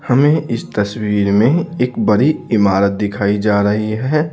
हमें इस तस्वीर में एक बड़ी इमारत दिखाई जा रही है।